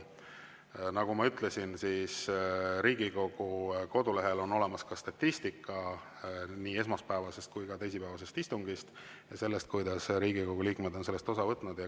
Nagu ma ütlesin, Riigikogu kodulehel on olemas statistika nii esmaspäevase kui ka teisipäevase istungi kohta ja selle kohta, kuidas Riigikogu liikmed on nendest osa võtnud.